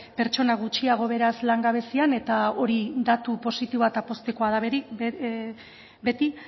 pertsona gutxiago beraz langabezian eta hori datu positiboa eta poztekoa da beti